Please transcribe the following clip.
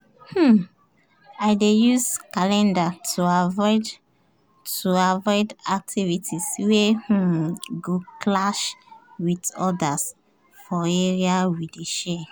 um i dey use calendar to avoid to avoid activities wey um go clash with others for area we dey share